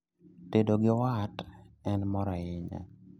Tedo gi wat en mor ahinya